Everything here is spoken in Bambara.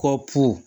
Kɔ pu